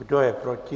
Kdo je proti?